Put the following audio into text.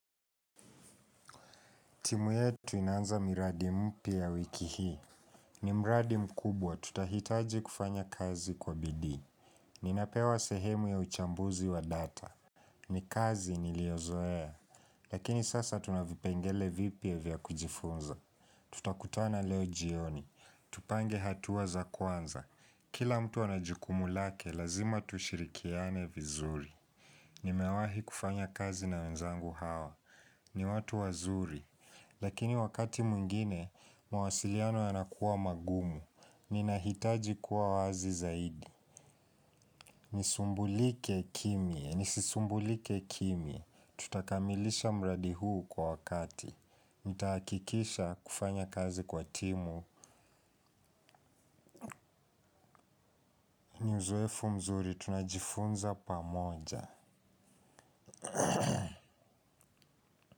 Timu yetu inaanza miradi mpya wiki hii. Ni mradi mkubwa tutahitaji kufanya kazi kwa bidii. Ninapewa sehemu ya uchambuzi wa data. Ni kazi niliyozoea. Lakini sasa tuna vipengele vipya vya kujifunza. Tutakutana leo jioni. Tupange hatua za kwanza. Kila mtu ana jukumu lake, lazima tushirikiane vizuri. Nimewahi kufanya kazi na wenzangu hawa. Ni watu wazuri. Lakini wakati mwingine, mawasiliano yanakuwa magumu, ninahitaji kuwa wazi zaidi. Nisumbulike kimya, nisisumbulike kimya tutakamilisha mradi huu kwa wakati. Nitahakikisha kufanya kazi kwa timu. Ni uzoefu mzuri, tunajifunza pamoja.